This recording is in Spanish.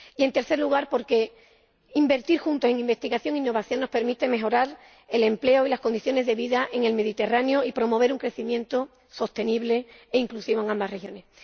Y en tercer lugar, porque invertir juntos en investigación e innovación nos permite mejorar el empleo y las condiciones de vida en el Mediterráneo y promover un crecimiento sostenible e inclusivo en estas regiones.